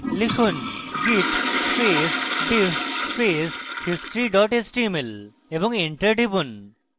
লিখুন: git space diff space history html এবং enter টিপুন